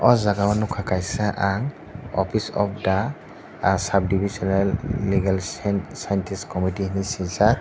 o jago nogkha kaisa ang office of the ah subdivisional legal scientist comettee hing sijak.